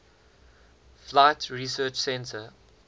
flight research center